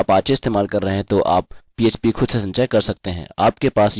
किन्तु यदि आप apache इस्तेमाल कर रहे हैं तो आप php खुद से संचय कर सकते हैं